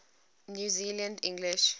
new zealand english